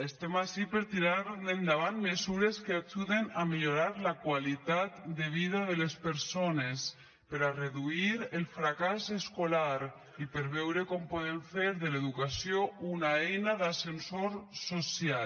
estem ací per tirar endavant mesures que ajuden a millorar la qualitat de vida de les persones per a reduir el fracàs escolar i per veure com podem fer de l’educació una eina d’ascensor social